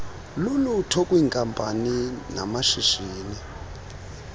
lulutho kwiinkampani namashishini